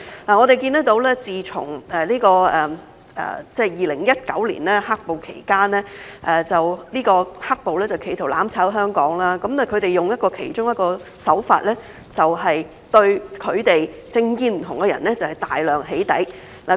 我們看到自從2019年"黑暴"期間，"黑暴"企圖"攬炒"香港，他們用的其中一個手法，就是對政見不同的人大量"起底"。